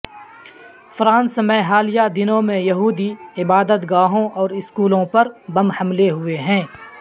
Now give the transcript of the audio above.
France میں حالیہ دنوں میں یہودی عبادت گاہوں اور اسکولوں پر بم حملے ہوئے ہیں